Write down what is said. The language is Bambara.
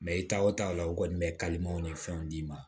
i ta o taa la o kɔni bɛ kalimanw ni fɛnw d'i ma